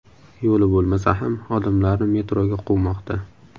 Yo‘li bo‘lmasa ham odamlarni metroga quvmoqda.